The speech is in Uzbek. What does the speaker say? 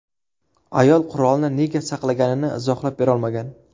Ayol qurolni nega saqlaganini izohlab berolmagan.